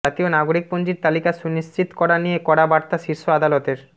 জাতীয় নাগরিকপঞ্জীর তালিকা সুনিশ্চিত করা নিয়ে কড়া বার্তা শীর্ষ আদালতের